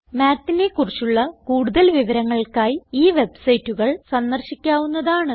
Mathനെ കുറിച്ചുള്ള കൂടുതൽ വിവരങ്ങൾക്കായി ഈ വെബ്സൈറ്റുകൾ സന്ദർശിക്കാവുന്നതാണ്